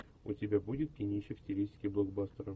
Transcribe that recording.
у тебя будет кинище в стилистике блокбастера